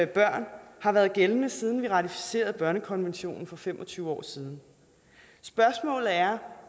børn har været gældende siden vi ratificerede børnekonventionen for fem og tyve år siden spørgsmålet er